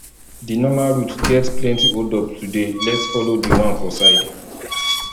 di normal route get plenty hold up today lets follow di one for side